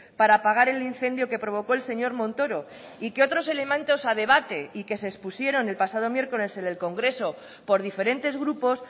para apagar el incendio que provocó el señor montoro y que otros elementos a debate y que se expusieron el pasado miércoles en el congreso por diferentes grupos